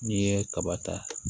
N'i ye kaba ta